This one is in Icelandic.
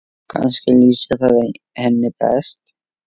Kannski lýsir það henni best.